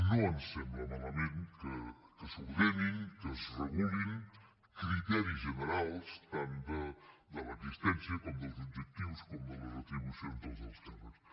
no ens sembla malament que s’ordenin que es regulin criteris generals tant de l’existència com dels objectius com de les retribucions dels alts càrrecs